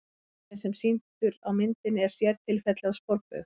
Hringurinn sem er sýndur á myndinni er sértilfelli af sporbaug.